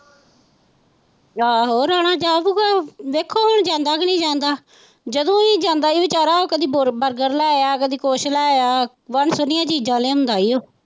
ਆਹੋ ਰਾਣਾ ਜਾਉਗਾ ਵੇਖੋ ਹੁਣ ਜਾਂਦਾ ਕਿ ਨਹੀਂ ਜਾਂਦਾ ਜਦੋਂ ਵੀ ਜਾਂਦਾ ਹੀ ਉਹ ਵਿਚਾਰਾ ਕਦੀ ਬਰਗਰ ਲੈ ਆਇਆ ਕਦੀ ਕੁੱਝ ਲੈ ਆਇਆ ਵੰਨ ਸੁਵੰਨੀਆਂ ਚੀਜ਼ਾਂ ਲਿਆਉਂਦਾ ਹੀ ਉਹ।